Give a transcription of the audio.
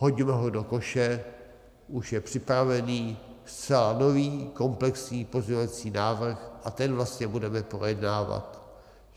Hodíme ho do koše, už je připravený zcela nový komplexní pozměňovací návrh a ten vlastně budeme projednávat.